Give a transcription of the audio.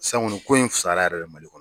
Sisan kɔni ko in fisayara yɛrɛ Mali kɔnɔ